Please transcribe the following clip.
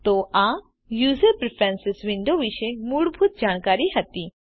તો આ user preferences window વિશે મૂળભૂત જાણકારી હતી